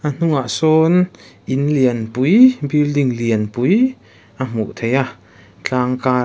a hnungah sawn in lian pui building lian pui a hmuh theih a tlang karah.